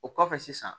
O kɔfɛ sisan